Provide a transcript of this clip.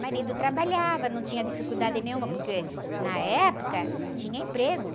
Marido trabalhava, não tinha dificuldade nenhuma, porque na época tinha emprego.